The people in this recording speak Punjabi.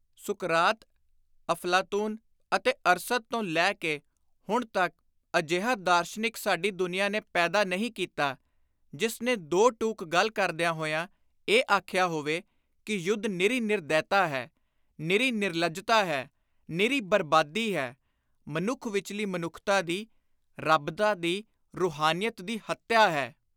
ਸੁਕਰਾਤ, ਅਫ਼ਲਾਤੁਨ ਅਤੇ ਅਰਸਤ ਤੋਂ ਲੈ ਕੇ ਹੁਣ ਤਕ ਅਜਿਹਾ ਦਾਰਸ਼ਨਿਕ ਸਾਡੀ ਦੁਨੀਆਂ ਨੇ ਪੈਦਾ ਨਹੀਂ ਕੀਤਾ, ਜਿਸ ਨੇ ਦੋ ਟੁਕ ਗੱਲ ਕਰਦਿਆਂ ਹੋਇਆਂ ਇਹ ਆਖਿਆ ਹੋਵੇ ਕਿ ਯੁੱਧ ਨਿਰੀ ਨਿਰਦੈਤਾ ਹੈ; ਨਿਰੀ ਨਿਰਲੱਜਤਾ ਹੈ; ਨਿਰੀ ਬਰਬਾਦੀ ਹੈ; ਮਨੁੱਖ ਵਿਚਲੀ ਮਨੁੱਖਤਾ ਦੀ, ਰੱਬਤਾ ਦੀ, ਰੁਹਾਨੀਅਤ ਦੀ ਹੱਤਿਆ ਹੈ।